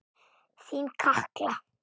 Þín Katla.